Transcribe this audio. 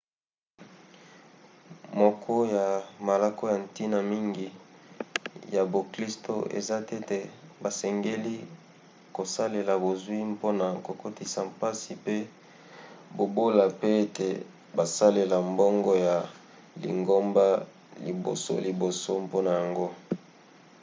moko ya malako ya ntina mingi ya boklisto eza tete basengeli kosalela bozwi mpona kokotisa mpasi pe bobola pe ete basalelaka mbongo ya lingomba libosoliboso mpona yango